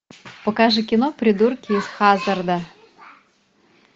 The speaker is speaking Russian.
покажи кино придурки из хаззарда